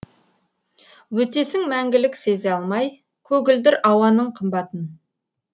өтесің мәңгілік сезе алмай көгілдір ауаның қымбатын